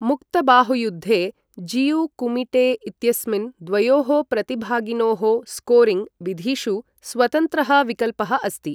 मुक्त बाहुयुद्धे जियु कुमिटे इत्यस्मिन् द्वयोः प्रतिभागिनोः स्कोरिङ्ग् विधिषु स्वतन्त्रः विकल्पः अस्ति।